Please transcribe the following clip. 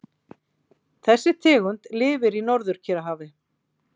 Þessi tegund lifir í Norður-Kyrrahafi.